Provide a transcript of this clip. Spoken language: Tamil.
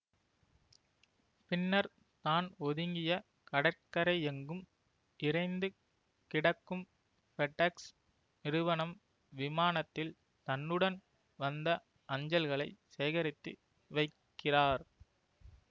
பின்னர் தான் ஒதுங்கிய கடற்கரையெங்கும் இரைந்து கிடக்கும் பெட்எக்ஸ் நிறுவனம் விமானத்தில் தன்னுடன் வந்த அஞ்சல்களை சேகரித்து வைக்கிறார்